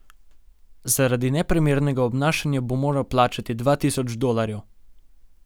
Zaradi neprimernega obnašanja bo moral plačati dva tisoč dolarjev.